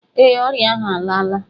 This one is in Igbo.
Ee, ọrịa ahụ alaala